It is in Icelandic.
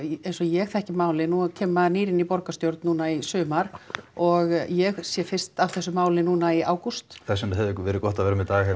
eins og ég þekki málið nú kemur maður nýr inn í borgarstjórn núna í sumar og ég sé fyrst af þessu máli núna í ágúst þess vegna hefði verið gott að vera með Dag